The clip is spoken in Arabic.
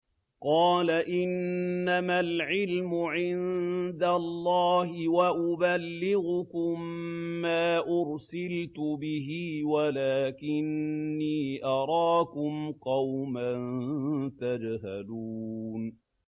قَالَ إِنَّمَا الْعِلْمُ عِندَ اللَّهِ وَأُبَلِّغُكُم مَّا أُرْسِلْتُ بِهِ وَلَٰكِنِّي أَرَاكُمْ قَوْمًا تَجْهَلُونَ